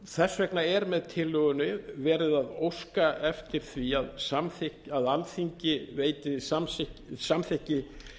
þess vegna er með tillögunni verið að óska eftir því að alþingi veiti samþykki